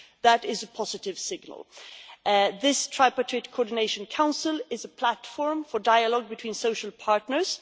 That is a positive signal. This Tripartite Coordination Council is a platform for dialogue between social partners.